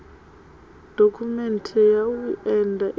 dokhumenthe ya u enda i